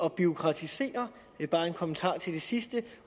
at bureaukratisere det er bare en kommentar til det sidste